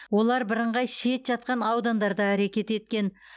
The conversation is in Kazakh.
олар бірыңғай шет жатқан аудандарда әрекет еткен